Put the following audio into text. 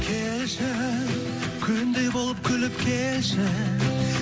келші күндей болып күліп келші